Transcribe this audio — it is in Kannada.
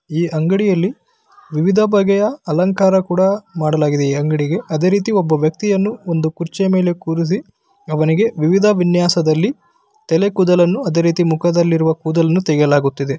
ಈ ಅಂಗಡಿಯಲ್ಲಿ ವಿವಿಧ ಬಗೆಯ ಅಲಂಕಾರ ಕೂಡ ಮಾಡಲಾಗಿದೆ ಈ ಅಂಗಡಿಗೆ ಅದೇ ರೀತಿ ಒಬ್ಬ ವ್ಯಕ್ತಿಯನ್ನು ಒಂದು ಕುರ್ಚಿಯ ಮೇಲೆ ಕೂರಿಸಿ ಅವನಿಗೆ ವಿವಿಧ ವಿನ್ಯಾಸದ ರೀತಿಯಲ್ಲಿ ಮುಖದ ಮೇಲಿರುವ ಕೂದಲನ್ನು ತೆಗಯಲಾಗುತ್ತಿದೆ .